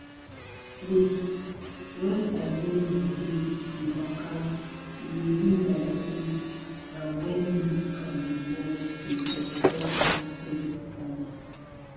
wait wen i de my dey de waka e de be like say nah wen me and de world de touch touch ourself be dat